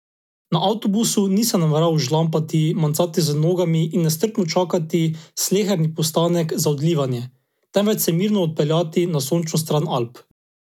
Na avtobusu nisem nameraval žlampati, mencati z nogami in nestrpno čakati sleherni postanek za odlivanje, temveč se mirno odpeljati na sončno stran Alp.